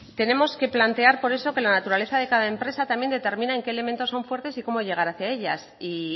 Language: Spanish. tenemos que plantear por eso que la naturaleza de cada empresa también determina en qué elementos son fuertes y cómo llegar hacia ellas y